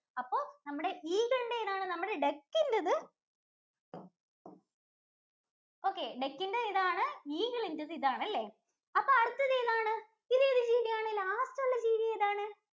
അപ്പോ നമ്മടെ Eagle ഇന്‍റെ ഏതാണ് നമ്മുട Duck ഇന്‍റെത് okay, duck ഇന്‍റെ ഇതാണ്. Eagle ന്‍റെ ഇതാണ് അപ്പോ അടുത്തത് ഏതാണ് ഇതേത് ജീവിയാണ് last ഉള്ള ജീവി ഏതാണ്?